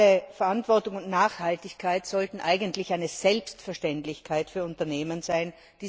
Soziale Verantwortung und Nachhaltigkeit sollten eigentlich eine Selbstverständlichkeit für Unternehmen sein.